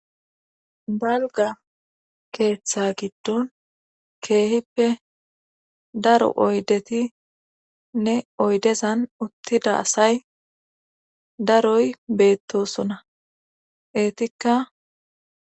Dalga keeththa giddon keehippe daro oydetinne oydezan uttida asay daroy beettosona eetikka.